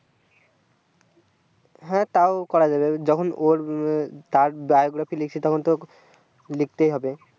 হ্যাঁ তাও করা যাবে যখন ওর তার biography লিখছি তখন তো লিখতেই হবে